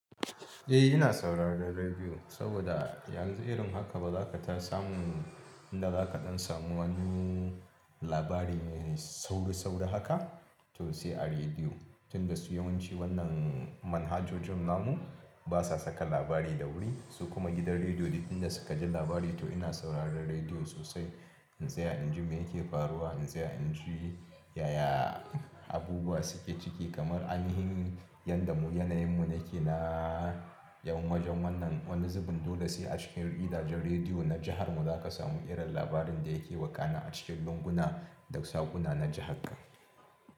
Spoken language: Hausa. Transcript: Eh ina sauraron rediyo, saboda yanzu irin haka ba zaka ta samu inda zaka ɗan samu wani labari mai sauri-sauri haka to sai a rediyo. Tun da su yawanci wannan manhajojin namu basa saka labari da wuri su kuma gidan rediyo duk inda suka ji labari to ina sauraron rediyo sosai. In tsaya inji me yake faruwa, yanzu ya anji yaya abubuwa suke ciki kamar alhinin yadda mu yanayin mu yake na yawan majon wannan wani zubin dole sai a cikin gidajen rediyo na jihar mu zaka samu irin labarin da yake wakana a cikin lunguna da sakuna na jihar ka.